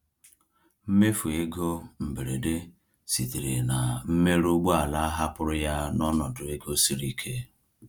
Mmefu ego mberede sitere na mmerụ ụgbọala hapụrụ ya n’ọnọdụ ego siri ike.